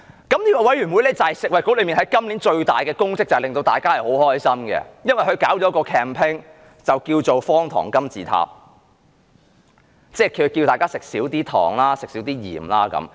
這個委員會就是食物及衞生局今年最大的工作，令大家很開心，因為它舉辦了一項 campaign， 叫"方糖金字塔"，呼籲大家少吃糖和鹽。